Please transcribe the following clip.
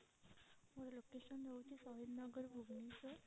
ମୋର location ହୋଉଛି ସହିଦ ନଗର ଭୁବନେଶ୍ଵର।